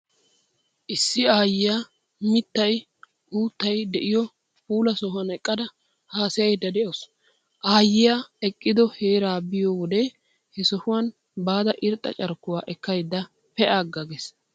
Issi aayyiyaa mittay, uuttay de'iyoo puula sohuwan eqqada haasayayidda de'awusu. Aayyiyaa eqqido heeraa be'iyo wode he sohuwa baada irxxa carkkuwaa ekkaydda pee'aagga gees.